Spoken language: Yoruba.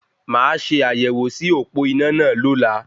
Mà a ṣe àyẹ̀wò sí òpó iná náà lola